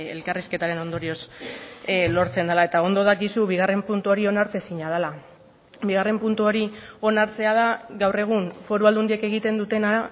elkarrizketaren ondorioz lortzen dela eta ondo dakizu bigarren puntu hori onartezina dela bigarren puntu hori onartzea da gaur egun foru aldundiek egiten dutena